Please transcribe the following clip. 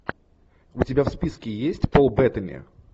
у тебя в списке есть пол беттани